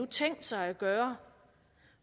tænkt sig at gøre